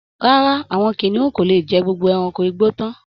Rárá, àwọn kìnìún kò lè jẹ gbogbo ẹrankò igbó tán